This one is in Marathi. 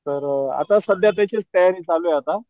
तर अ आता सध्या त्याचीच तयारी चालूये आता,